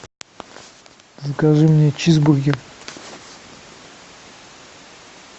закажи мне чизбургер